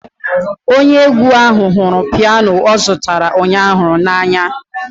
Onye egwu ahụ hụrụ piano ọ zụtara ụnyaahụ.